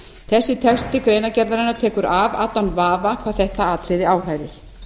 þessi texti greinargerðarinnar tekur af allan vafa hvað þetta atriði áhrærir